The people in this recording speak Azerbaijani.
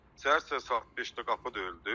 Səhər-səhər saat 5-də qapı döyüldü.